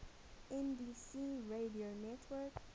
nbc radio network